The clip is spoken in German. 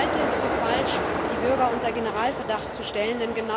Ich halte es für falsch, die Bürger unter Generalverdacht zu stellen.